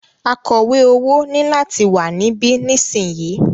Akọ̀wẹ́ owó ní láti wà níbí nísìyí!